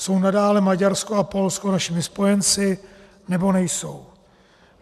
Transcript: Jsou nadále Maďarsko a Polsko našimi spojenci, nebo nejsou?